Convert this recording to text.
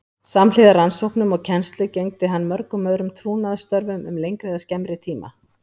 Samhliða rannsóknum og kennslu gegndi hann mörgum öðrum trúnaðarstörfum um lengri eða skemmri tíma.